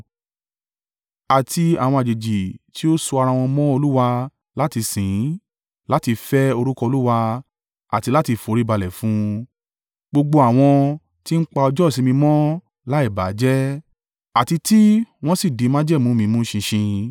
Àti àwọn àjèjì tí ó so ara wọn mọ́ Olúwa láti sìn ín, láti fẹ́ orúkọ Olúwa àti láti foríbalẹ̀ fún un gbogbo àwọn tí ń pa ọjọ́ ìsinmi mọ́ láì bà á jẹ́ àti tí wọ́n sì di májẹ̀mú mi mú ṣinṣin—